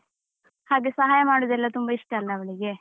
ಹಾಗೆ ಸಹಾಯ ಮಾಡುದೆಲ್ಲ ತುಂಬ ಇಷ್ಟ ಅಲಾ ಅವಳಿಗೆ.